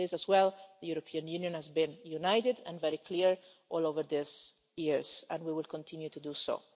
On this as well, the European Union has been united and very clear over the years and we will continue to do so.